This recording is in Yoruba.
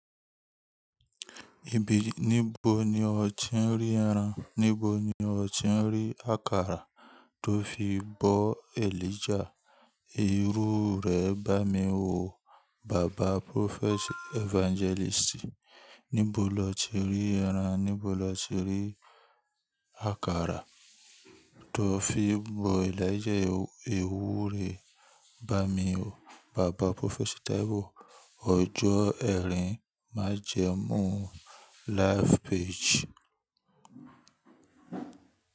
Ibeere níbo ni o ti ń rí ẹran, níbo ni o ti ń rí akara tó fi bọ Elijah. Erú rẹ̀ bá mi wò bàbá Prophet Evangelist. Níbo lo ti rí ẹran, níbo lo ti rí akara tó fi bọ ẹlẹ́jẹ̀ ewúrẹ́ bá mi wò bàbá Prophet T.B. Ọjọ́ ẹrin májẹ̀mú Live Page.